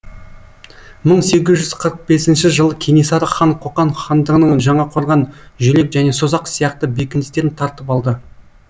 бір мың сегіз жүз қырық бесінші жылы кенесары хан қоқан хандығының жаңақорған жүлек және созақ сияқты бекіністерін тартып алды